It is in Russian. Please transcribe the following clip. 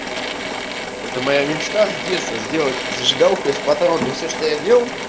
это моя мечта с детства сделать зажигалку из патрона но все что я делал